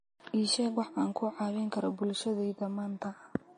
ii sheeg wax aan ku caawin karo bulshadayda maanta